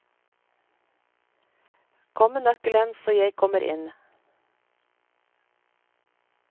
Kom med nøkkelen, så jeg kommer inn.